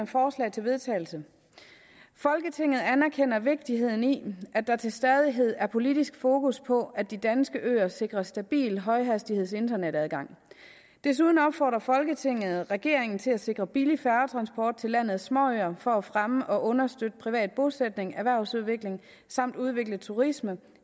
forslag til vedtagelse folketinget anerkender vigtigheden i at der til stadighed er politisk fokus på at de danske øer sikres stabil højhastighedsinternetadgang desuden opfordrer folketinget regeringen til at sikre billig færgetransport til landets småøer for at fremme og understøtte privat bosætning og erhvervsudvikling samt udvikle turisme